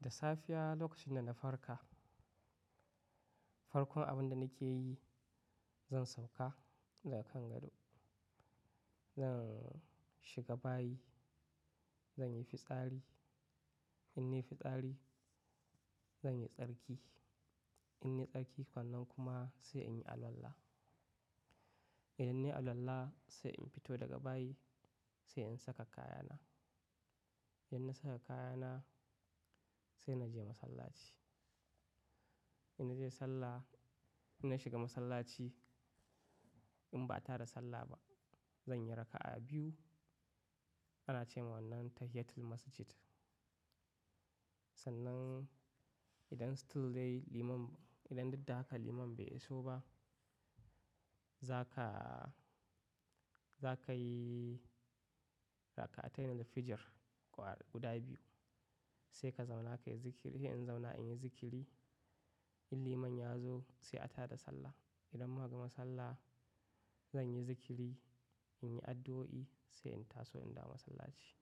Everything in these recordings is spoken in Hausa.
Da safiya lokacin da na farka, farkon abin da nake yi, zan sauka daga kan gado. Zan shiga bayi, zan yi fitsari. In yi fitsari, zan yi tsarki. In yi tsarki, wannan kuma sai in yi alwala. Idan na yi alwala, sai in fito daga bayi, sai in saka kayana. Idan na saka kayana, sai na je masallaci. In na je sallah, in na shiga masallaci, in ba a tara sallah ba, zan yi raka'a biyu. Ana ce wa wannan tahiyyatul masjid. Sannan idan still dai liman, idan dadda haka liman bai iso ba, za ka, za ka yi rakatain na fijir guda biyu. Sai ka zauna ka yi zikiri. In zauna in yi zikiri, in liman ya zo sai a tada sallah. Idan muka gama sallah, zan yi zikiri, in yi addu'o'i sai in taso in dawo masallaci.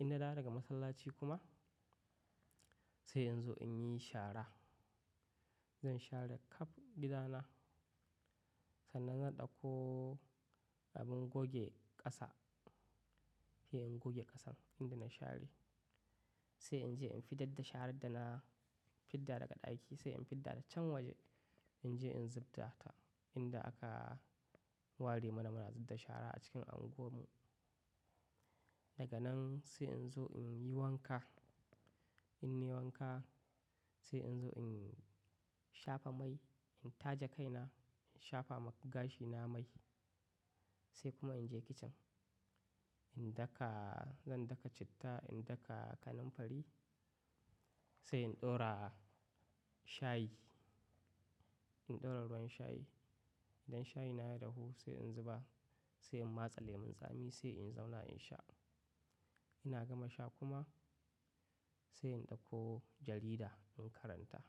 In na dawo daga masallaci kuma, sai in zo in yi shara. Zan share kap gida na. Sannan zan ɗauko abin goge ƙasa, sai in goge ƙasan inda na share, sai in je in fidadda sharar da na fidda daga ɗaki, sai in fidda da can waje. In je in zubta ta inda aka ware mana muna zubba shara a cikin unguwar mu. Daga nan sai in zo in yi wanka. In nai wanka, sai in zo in shafa mai, in taje kaina, in shafa ma gashina mai. Sai kuma in je kicin. In daka, zan daka citta, in daka kananfari. Sai in ɗora shayi. In ɗora ruwan shayi. Idan shayi na ya dahu sai in zuba, sai in matsa lemun tsami sai in zauna in sha. Ina gama sha kuma, sai in ɗauko jarida in karanta.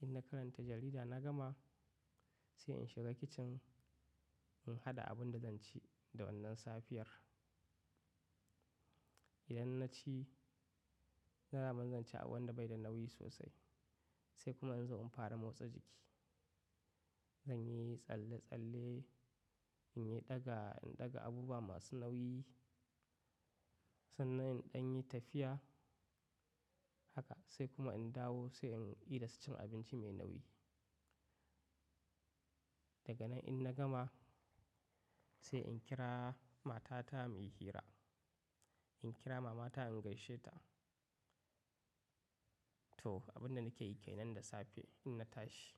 In na karanta jarida na gama, sai in shiga kicin in haɗa abin da zan ci da wannan safiyar. Idan na ci, daman zan ci abun da bai da nauyi sosai. Sai kuma in zo in fara motsa jiki. Zan yi tsalle-tsalle, in yi ɗaga, in ɗaga abubuwa masu nauyi. Sannan in ɗan yi tafiya. Haka sai kuma in dawo sai in idasa cin abinci mai nauyi. Daga nan in na gama, sai in kira mata ta mu yi hira. In kira mama ta in gaishe ta. To, abun da nake yi ke nan da safe in na tashi.